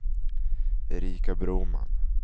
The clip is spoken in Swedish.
Erika Broman